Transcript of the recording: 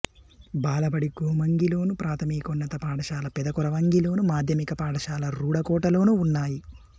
బాలబడి గోమంగిలోను ప్రాథమికోన్నత పాఠశాల పెద కొరవంగిలోను మాధ్యమిక పాఠశాల రూడకోటలోనూ ఉన్నాయి